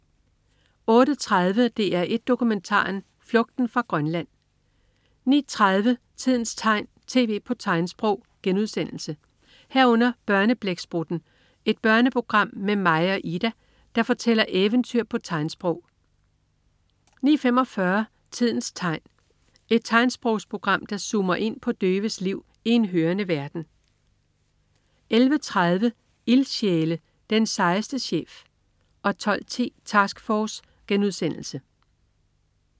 08.30 DR1 Dokumentaren. Flugten fra Grønland 09.30 Tidens tegn. TV på tegnsprog* 09.30 Børneblæksprutten. Et børneprogram med Maja og Ida, der fortæller eventyr på tegnsprog 09.45 Tidens tegn. Et tegnsprogsprogram, der zoomer ind på døves liv i en hørende verden 11.30 Ildsjæle. Den sejeste chef 12.10 Task Force*